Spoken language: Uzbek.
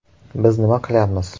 Biz nima qilyapmiz?